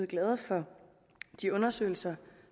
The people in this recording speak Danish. glade for de undersøgelser